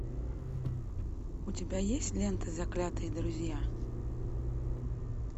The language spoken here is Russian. у тебя есть лента заклятые друзья